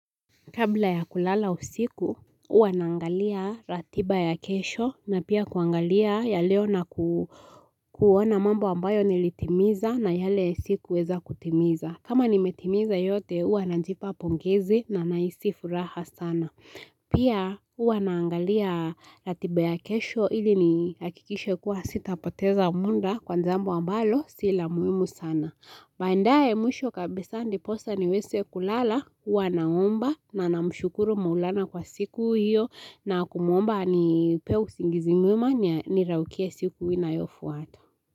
Kabla ya kulala usiku, huwa naangalia ratiba ya kesho na pia kuangalia ya leo na kuona mambo ambayo nilitimiza na yale sikuweza kutimiza. Kama nimetimiza yote, huwa najipa pongezi na nahisi furaha sana. Pia, huwa naangalia ratiba ya kesho ili ni hakikishe kuwa sitapoteza muda kwa jambo ambalo si la muhimu sana. Waendae mwisho kabisa ndiposa niweze kulala, huwa naomba na namshukuru maulana kwa siku hiyo na kumuomba anipe usingizi mwema niraukie siku inayofuata.